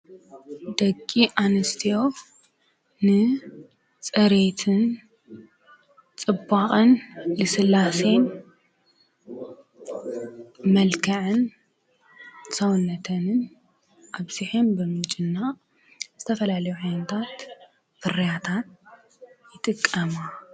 ደጊ ኣንስትዎ ንጸሬትን ጽባቕን ስላሴን መልከዐን ሳውነተንን ኣብሲሐም ብምጭና ዝተፈላለ ዐይነታትፍርያታት ይጥቀማ።